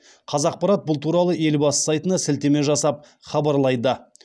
қазақпарат бұл туралы елбасы сайтына сілтеме жасап хабарлайды